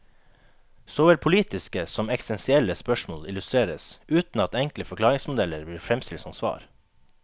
Såvel politiske som eksistensielle spørsmål illustreres, uten at enkle forklaringsmodeller blir fremstilt som svar.